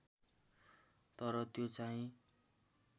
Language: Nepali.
तर त्यो चाहिँ